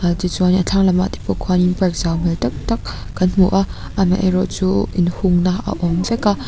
ti chuan in a thlang lamah te pawh khuan in park zau hmel tak tak kan hmu a amaherawh chu in hungna a awm vek a.